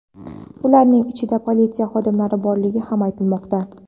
Ularning ichida politsiya xodimlari borligi ham aytilmoqda.